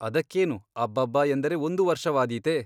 ಅದಕ್ಕೇನು ಅಬ್ಬಬ್ಬಾ ಎಂದರೆ ಒಂದು ವರ್ಷವಾದೀತೆ?